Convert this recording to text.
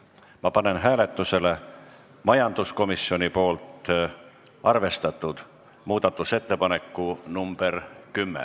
Ma panen hääletusele majanduskomisjonis arvestatud muudatusettepaneku nr 10.